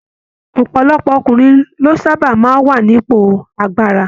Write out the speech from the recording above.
Ọpọlọpọ ọkùnrin ló sábà máa n wà nípò agbára.